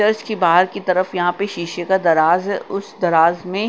दस की बाहर की तरफ यहाँ पे शीशे का दराज है उस दराज में--